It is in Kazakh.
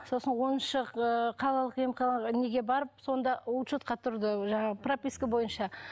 сосын оныншы ыыы қалалық емханаға неге барып сонда учетқа тұрды жаңағы прописка бойынша